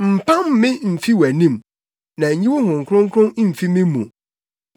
Mpam me mfi wʼanim, na nyi wo Honhom Kronkron mfi me mu.